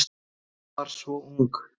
Ég var svo ung